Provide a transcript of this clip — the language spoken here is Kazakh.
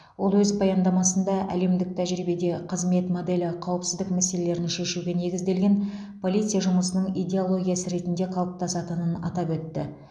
ол өз баяндамысында әлемдік тәжірибеде қызмет моделі қауіпсіздік мәселелерін шешуге негізделген полиция жұмысының идеологиясы ретінде қалыптасатынын атап өтті